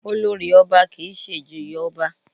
Olórì ọba kì í ṣe ìjòyè ọba